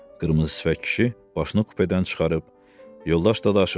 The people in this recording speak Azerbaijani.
Qırmızı sifət kişi başını kupedən çıxarıb yoldaş Dadaşov dedi.